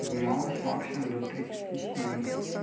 поднималась максимум до тридцати семи